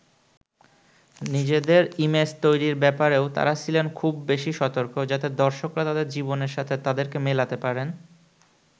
নিজেদের ইমেজ তৈরির ব্যাপারেও তারা ছিলেন খুব বেশি সতর্ক, যাতে দর্শকরা তাদের জীবনের সাথে তাদেরকে মেলাতে পারেন।